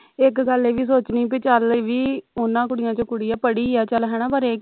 ਇਕ ਗੱਲ ਇਹ ਵੀ ਸੋਚਣੀ ਬਈ ਚੱਲ ਵੀ ਉਨ੍ਹਾਂ ਕੁੜੀਆਂ ਵਿਚੋਂ ਕੁੜੀ ਆ ਪੜੀ ਆ ਚੱਲ ਹਣਾ ਪਰ